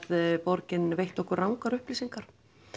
borgin veitti okkur rangar upplýsingar